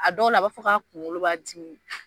A dɔw la a b'a fɔ ka kunkolo b'a dimi